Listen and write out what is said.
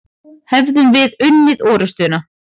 Hefðum við unnið orustuna?